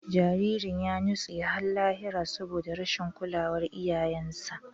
Jaririn ya nutse har lahira saboda rashin kulawar iyayensa.